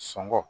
Sunɔgɔ